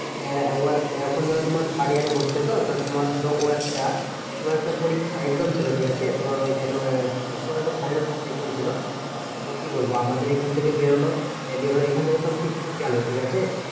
এখন ধরো তোমার third year এ পড়ছে তো? তোমার ধরো ও একটা কোনো একটা পরীক্ষা exam ছিল ঠিকাছে? তোমার ওই কি করে? একটা final exam ছিল। এ তো কি বলবো? আমাদের এখন থেকে বেরোলো বের হয়ে এখন থেকে সব ঠিকঠাক গেলো ঠিকাছে?